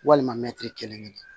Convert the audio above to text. Walima mɛtiri kelen kelen